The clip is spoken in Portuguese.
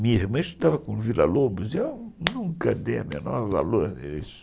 Minha irmã estudava com o Vila Lobos e eu nunca dei o menor valor a isso.